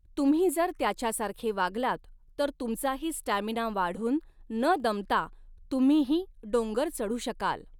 तुम्ही जर त्याच्या सारखे वागलात तर तुमचाही स्टॅमीना वाढून न दमता तुम्हीही डोंगर चढू शकाल.